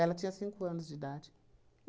Ela tinha cinco anos de idade.